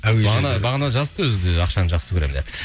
бағана бағана жазыпты өзі де ақшаны жақсы көремін деп